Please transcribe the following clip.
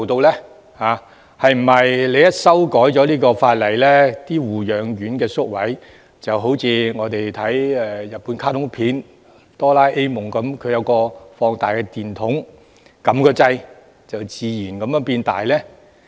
是否法例一經修改，護養院宿位就如日本卡通片"多啦 A 夢"的放大電筒般，按掣後會自動變大？